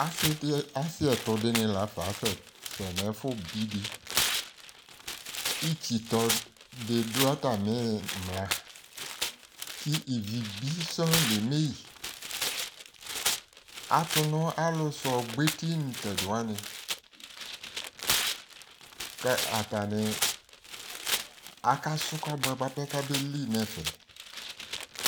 ase di ase ɛto dini lafa asɛ sɛ no ɛfo bi di itsi tɔ di do atami imla ko ivi ko ivi bi sɔŋ la eme yi ato no alo so ɔgbɔ eti ni no tɛdi wani ko atani aka so kɔboɛ boa pɛ kabeli no ɛfɛ